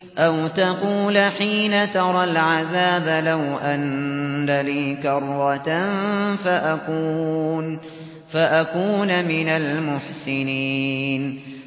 أَوْ تَقُولَ حِينَ تَرَى الْعَذَابَ لَوْ أَنَّ لِي كَرَّةً فَأَكُونَ مِنَ الْمُحْسِنِينَ